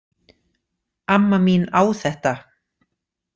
Amma mín á þetta